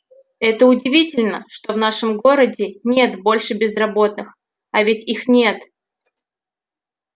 это удивительно что в нашем городе нет больше безработных а ведь их нет